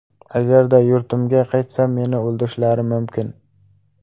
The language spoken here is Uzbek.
Agarda yurtimga qaytsam, men o‘ldirishlari mumkin.